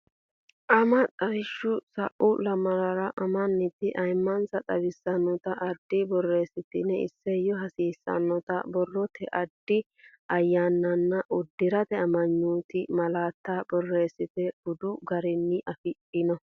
Ama xawishshi sa u lamalara amanti ayimmansa xawissannota addi borreessitini isayyo hasiissannota borrote addi ayyaananna uddi rate amanyoote malaattanna borreessate bude garunni afidhino.